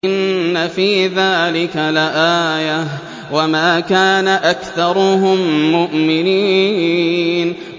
إِنَّ فِي ذَٰلِكَ لَآيَةً ۖ وَمَا كَانَ أَكْثَرُهُم مُّؤْمِنِينَ